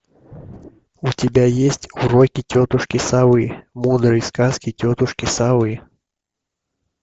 у тебя есть уроки тетушки совы мудрые сказки тетушки совы